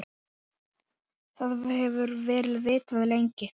Það hefur verið vitað lengi.